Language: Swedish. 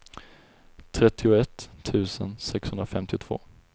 trettioett tusen sexhundrafemtiotvå